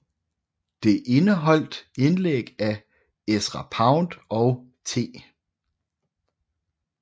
Det indeholdt indlæg af Ezra Pound og T